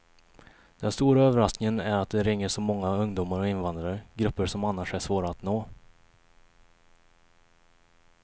Den stora överraskningen är att det ringer så många ungdomar och invandrare, grupper som annars är svåra att nå.